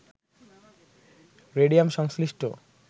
radium সংশ্লিষ্ট